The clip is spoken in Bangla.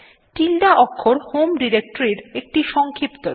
tilde অক্ষর হোম ডিরেক্টরীর একটি সংক্ষিপ্ত রূপ